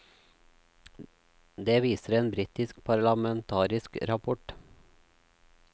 Det viser en britisk parlamentarisk rapport.